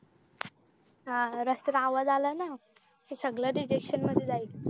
अह रस्त्या च आवाज आला ना तर सगळं rejection मध्ये जाईल